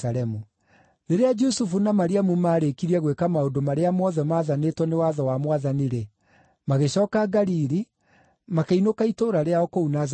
Rĩrĩa Jusufu na Mariamu maarĩkirie gwĩka maũndũ marĩa mothe maathanĩtwo nĩ watho wa Mwathani-rĩ, magĩcooka Galili, makĩinũka itũũra rĩao kũu Nazarethi.